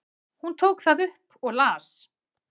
Hún tók það upp og las.